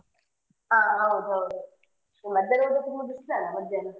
ಹಾ ಹಾ ಹೌದು ಹೌದು ಮಧ್ಯಾಹ್ನ ತುಂಬಾ ಬಿಸ್ಲಲ್ಲಾ ಮಧ್ಯಾಹ್ನ.